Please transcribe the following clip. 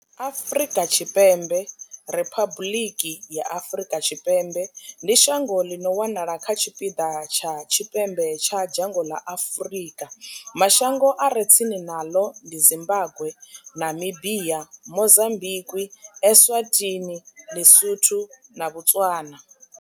Afrika Tshipembe riphabuḽiki ya Afrika Tshipembe ndi shango ḽi no wanala kha tshipiḓa tsha tshipembe tsha dzhango ḽa Afurika. Mashango a re tsini naḽo ndi Zimbagwe, Namibia, Mozambikwi, Eswatini, Ḽisotho na Botswana.